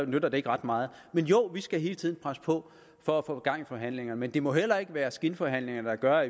nytter det ikke ret meget jo vi skal hele tiden presse på for at få gang i forhandlingerne men det må heller ikke være skinforhandlinger der gør at